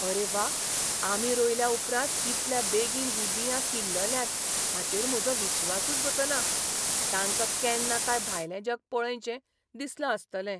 आरे वा, आमी रोयल्या उपरांत कितल्या बेगीन हीं बियां किल्लल्यांत हाचेर म्हजो विस्वासूच बसना. तांका केन्ना काय भायलें जग पळयनशें दिसलां आसतलें!